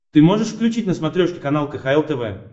ты можешь включить на смотрешке канал кхл тв